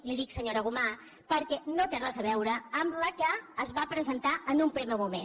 li ho dic senyora gomà perquè no té res a veure amb la que es va presentar en un primer moment